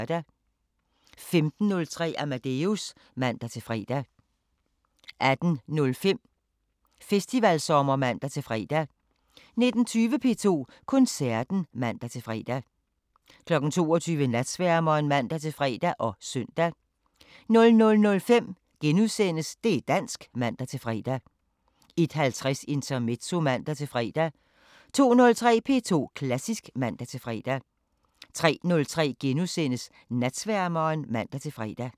15:03: Amadeus (man-fre) 18:05: Festivalsommer (man-fre) 19:20: P2 Koncerten (man-fre) 22:00: Natsværmeren (man-fre og søn) 00:05: Det' dansk *(man-fre) 01:50: Intermezzo (man-fre) 02:03: P2 Klassisk (man-fre) 03:03: Natsværmeren *(man-fre)